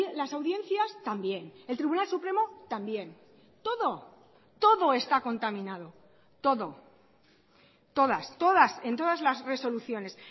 las audiencias también el tribunal supremo también todo todo está contaminado todo todas todas en todas las resoluciones